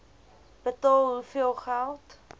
betaal hoeveel geld